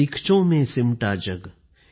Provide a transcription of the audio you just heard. सीखचों में सिमटा जग